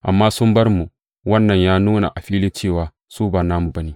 Amma sun bar mu, wannan ya nuna a fili cewa su ba namu ba ne.